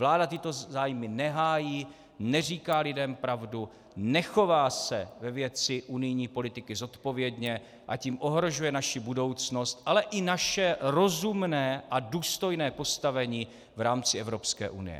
Vláda tyto zájmy nehájí, neříká lidem pravdu, nechová se ve věci unijní politiky zodpovědně, a tím ohrožuje naši budoucnost, ale i naše rozumné a důstojné postavení v rámci Evropské unie.